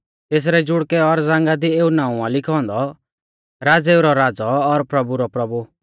तेसरै जुड़कै और जांघा दी एऊ नाऊं आ लिखौ औन्दौ राज़ेऊ रौ राज़ौ और प्रभु रौ प्रभु